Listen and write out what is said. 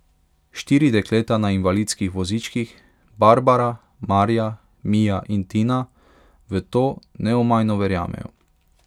Štiri dekleta na invalidskih vozičkih, Barbara, Marja, Mija in Tina, v to neomajno verjamejo.